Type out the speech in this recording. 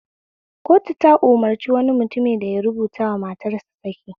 Kotu ta umarci wani mutum da ya rubutawa matarsa saki